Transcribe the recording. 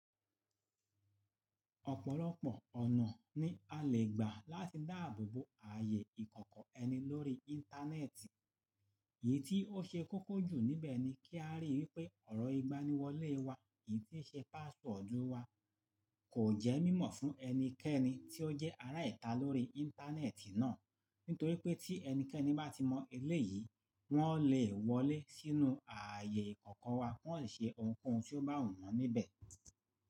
Ọ̀pọ̀lọpọ̀ ọ̀nà ni a lè gbà láti dáàbò bo ààyè ìkọ̀kọ̀ ẹni lórí Íńtánẹ́ẹ̀tì. Èyí tí ó ṣe kókó jù níbẹ̀ ni kí a ríi wípé ọ̀rọ̀ ìgbaniwọlé wa, èyí tí ṣe páswọ́ọ̀dù wa kò jẹ́ mímọ̀ fún ẹnikẹ́ni tí ó jẹ́ ará ìta lórí Íńtánẹ́ẹ̀tì náà, nítorí pé tí ẹnikẹ́ni bá ti mọ eleyìí, wọ́n lè wọlé sínú ààyè ìkọ̀kọ̀ wa, wọ́n ò ṣe ohunkóhun tí ó bá wù wọ́n níbẹ̀